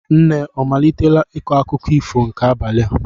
Nne ọ malitela ịkọ akụkọ ifo nke abalị a?